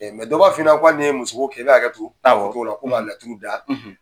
dɔ b'a f'i ɲɛ na hali nin ye muso ko kɛ, i bɛ hakɛ to, awɔ, ko k'a laturu da.